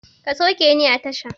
Ka sauke ni a tasha!